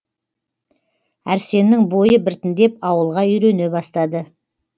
әрсеннің бойы біртіндеп ауылға үйрене бастады